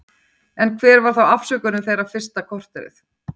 En hver var þá afsökunin þeirra fyrsta korterið?